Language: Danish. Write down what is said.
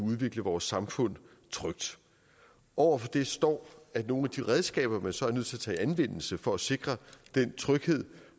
udvikle vores samfund over for det står at nogle af de redskaber man så er nødt til at tage i anvendelse for at sikre den tryghed